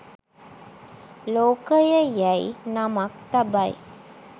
ලෝකය යැයි නමක් තබයි